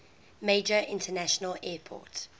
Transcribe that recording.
major international airport